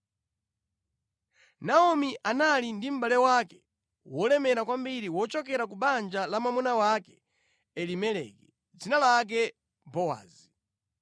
Naomi anali ndi mʼbale wake wolemera kwambiri wochokera ku banja la mwamuna wake Elimeleki, dzina lake Bowazi.